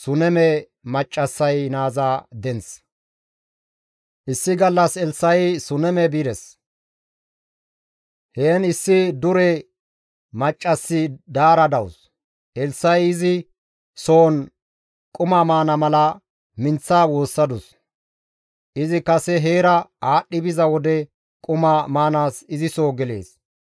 Issi gallas Elssa7i Suneme bides; heen issi dure maccassi daara dawus; Elssa7i izi soon quma maana mala minththa woossadus; izi kase heera aadhdhi biza wode quma maanaas izi soo gelees.